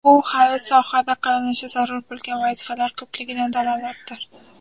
Bu hali sohada qilinishi zarur bo‘lgan vazifalar ko‘pligidan dalolatdir”.